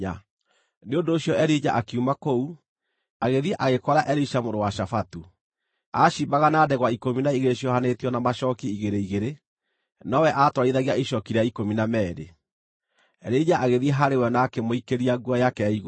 Nĩ ũndũ ũcio Elija akiuma kũu, agĩthiĩ agĩkora Elisha mũrũ wa Shafatu. Aaciimbaga na ndegwa ikũmi na igĩrĩ ciohanĩtio na macooki igĩrĩ igĩrĩ, nowe aatwarithagia icooki rĩa ikũmi na meerĩ. Elija agĩthiĩ harĩ we na akĩmũikĩria nguo yake ya igũrũ.